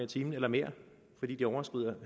time eller mere fordi de overskrider